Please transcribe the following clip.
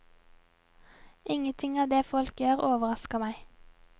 Ingenting av det folk gjør, overrasker meg.